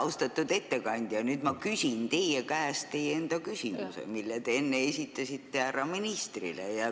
Austatud ettekandja, ma küsin nüüd teie käest teie enda küsimuse, mille te enne esitasite härra ministrile.